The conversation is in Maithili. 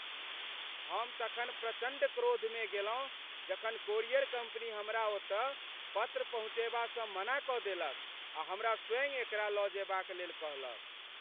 हम तखन प्रचण्ड क्रोध में गेलहुँ जखन कोरियर कम्पनी हमरा ओतऽ पत्र पहुँचयबासँ मना कऽ देलक आ हमरा स्वयँ एकरा लऽ जेबाक लेल कहलक।